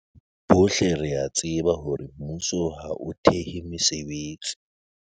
"Bohle re a tseba hore mmuso ha o thehe mesebetsi."